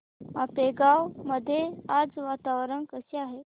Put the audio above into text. आपेगाव मध्ये आज वातावरण कसे आहे